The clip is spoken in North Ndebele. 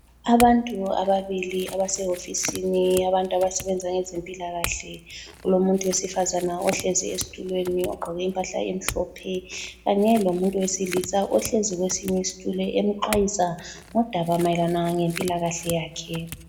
Abantu ababili abasehofisini yabantu abasebenza ngezempilakahle. Kulomuntu wesifazane ohlezi esitulweni ogqoke impahla emhlophe kanye lomuntu wesilisa ohlezi kwesinye isitulo emxwayisa ngodaba mayelana ngempilakahle yakhe.